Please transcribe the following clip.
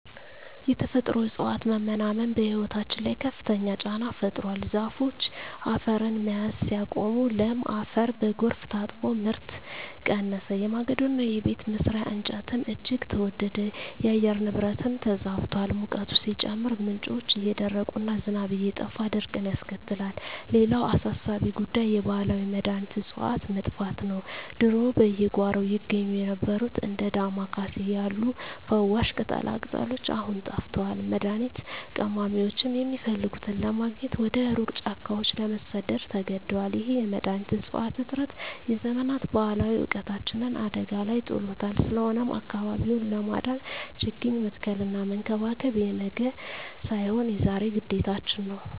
የተፈጥሮ እፅዋት መመናመን በሕይወታችን ላይ ከፍተኛ ጫና ፈጥሯል። ዛፎች አፈርን መያዝ ሲያቆሙ፣ ለም አፈር በጎርፍ ታጥቦ ምርት ቀነሰ፤ የማገዶና የቤት መስሪያ እንጨትም እጅግ ተወደደ። የአየር ንብረቱም ተዛብቷል፤ ሙቀቱ ሲጨምር፣ ምንጮች እየደረቁና ዝናብ እየጠፋ ድርቅን ያስከትላል። ሌላው አሳሳቢ ጉዳይ የባህላዊ መድኃኒት እፅዋት መጥፋት ነው። ድሮ በየጓሮው ይገኙ የነበሩት እንደ ዳማ ኬሴ ያሉ ፈዋሽ ቅጠላቅጠሎች አሁን ጠፍተዋል፤ መድኃኒት ቀማሚዎችም የሚፈልጉትን ለማግኘት ወደ ሩቅ ጫካዎች ለመሰደድ ተገደዋል። ይህ የመድኃኒት እፅዋት እጥረት የዘመናት ባህላዊ እውቀታችንን አደጋ ላይ ጥሎታል። ስለሆነም አካባቢውን ለማዳን ችግኝ መትከልና መንከባከብ የነገ ሳይሆን የዛሬ ግዴታችን ነው።